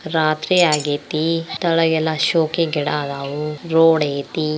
ರಾತ್ರಿ ಆಗೈತಿ ಕೆಳಗೆ ಶೋಕಿ ಗಿಡ ಇದವು ರೋಡೈತಿ.